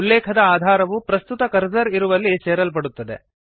ಉಲ್ಲೇಖದ ಆಧಾರವು ಪ್ರಸ್ತುತ ಕರ್ಸರ್ ಇರುವಲ್ಲಿ ಸೇರಲ್ಪಡುತ್ತದೆ